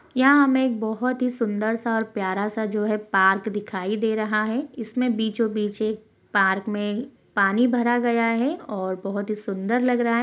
यहाँ हमें एक बहुत ही सुन्दर-सा और प्यारा-सा जो है पार्क दिखाई दे रहा है इसमें बीचों-बीच एक पार्क में पानी भरा गया है और बहोत ही सुन्दर लग रहा है।